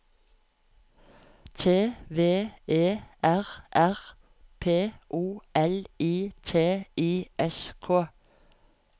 T V E R R P O L I T I S K